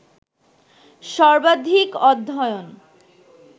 সবার্ধিক অধ্যয়ন